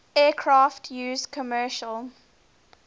aircraft used commercial